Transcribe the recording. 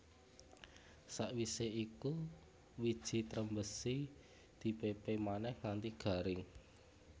Sawisé iku wiji trembesi di pépé manèh nganti garing